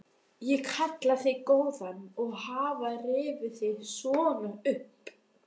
Ég kalla þig góðan að hafa rifið þig svona upp.